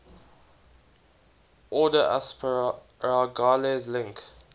order asparagales link